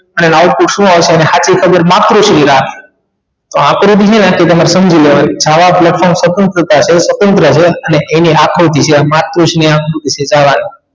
અને રાવતી શું આવશે અને સાચી ખબર માતૃશ્રીયા તો આકૃતિ નહિ આપે તમારે સમજી લેવાનું જાવા platform સ્વતંત્રતા છે સ્વતંત્ર છે અને એની આકૃતિ